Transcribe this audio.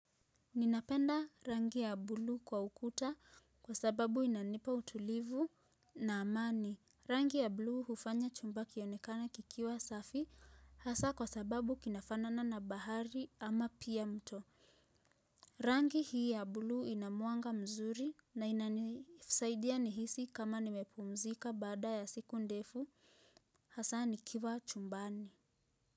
Ninapenda rangi ya buluu kwa ukuta kwa sababu inanipa utulivu na amani. Rangi ya buluu hufanya chumba kionekana kikiwa safi hasaa kwa sababu kinafanana na bahari ama pia mto. Rangi hii ya buluu inamwanga mzuri na ina nisaidia nihisi kama nimepumzika baada ya siku ndefu hasaa nikiwa chumbani.